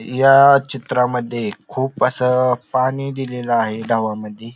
या चित्रामद्ये खूप अस पानी दिलेल आहे ढवामधी.